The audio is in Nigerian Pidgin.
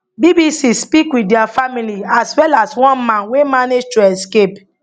bbc speak wit dia family as well as one man wey manage to escape